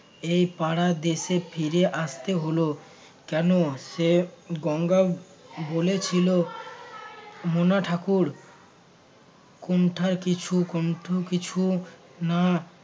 এই পাড়ার দেশে ফিরে আসতে হল কেন সে গঙ্গা বলেছিল মনা ঠাকুর কোণ্ঠা কিছু কুণ্ঠ কিছু না